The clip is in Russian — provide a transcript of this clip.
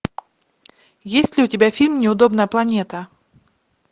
есть ли у тебя фильм неудобная планета